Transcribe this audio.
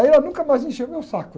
Aí ela nunca mais me encheu meu saco.